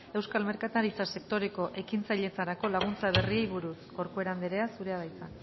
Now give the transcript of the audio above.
euskal merkataritza sektoreko ekintzailetzarako laguntza berriei buruz corcuera anderea zurea da hitza